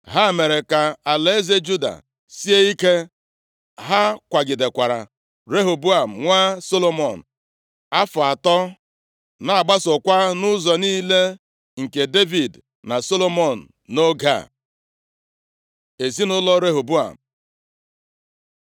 Ha mere ka alaeze Juda sie ike. Ha kwagidekwara Rehoboam nwa Solomọn afọ atọ, na-agbasokwa nʼụzọ niile nke Devid na Solomọn nʼoge a. Ezinaụlọ Rehoboam